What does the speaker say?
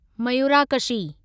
Mayurakshi